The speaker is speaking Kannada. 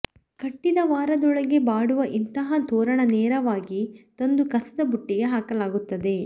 ಕಟ್ಟಿದ ವಾರದೊಳಗೆ ಬಾಡುವ ಇಂತಹ ತೋರಣ ನೇರವಾಗಿ ತಂದು ಕಸದ ತೊಟ್ಟಿಗೆ ಹಾಕಲಾಗುತ್ತದೆ